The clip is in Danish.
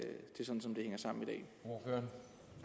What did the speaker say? eu